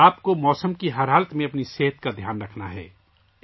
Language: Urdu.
آپ کو ہر موسم میں اپنی صحت کا خیال رکھنا ہوگا